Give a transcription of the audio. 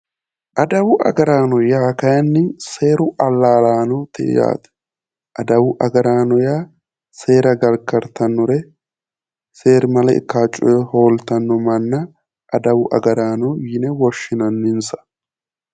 Adawu agaraano yaa kaayiinni seeru allaalaanooti yaate, adawu agaraano yaa seera gargartannore seerimale ikkawo coye hooltanno manna adawu agaraano yine woshshinanninsa.